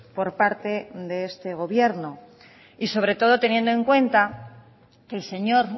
por parte de este gobierno y sobre todo teniendo en cuenta que el señor